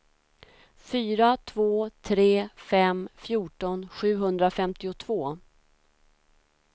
fyra två tre fem fjorton sjuhundrafemtiotvå